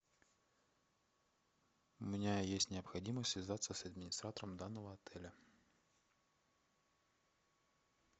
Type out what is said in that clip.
у меня есть необходимость связаться с администратором данного отеля